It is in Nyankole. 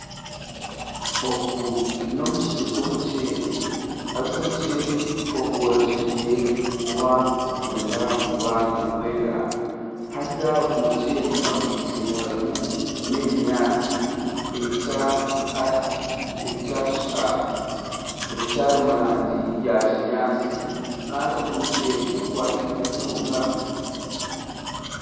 Ogu nomusiri gw'omuceri haza omuceri ogworekyereire kwenda kuba nugwera haza ogu omuceri hakwitse harumu n'ebinyantsi ebikyari murangi ya kinyantsi Kandi ogu muceri gukwateine munonga